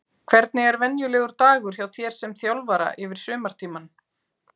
Hvernig er venjulegur dagur hjá þér sem þjálfara yfir sumartímann?